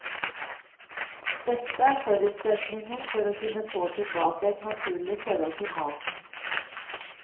Dette er forutsetningen for å kunne få tilbake et naturlig forhold til maten.